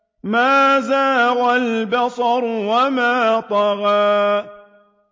مَا زَاغَ الْبَصَرُ وَمَا طَغَىٰ